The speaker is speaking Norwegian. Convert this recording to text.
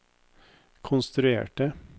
konstruerte